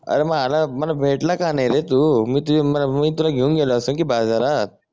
अरे मग आला मला भेटला का नाही रे तू मी तुले मी तुला घेऊन गेलो असतो की बाजारात